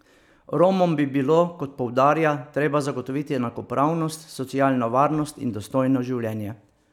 Romom bi bilo, kot poudarja, treba zagotoviti enakopravnost, socialno varnost in dostojno življenje.